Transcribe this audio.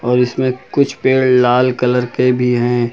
और इसमें कुछ पेड़ लाल कलर के भी है।